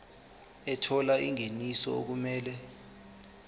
ethola ingeniso okumele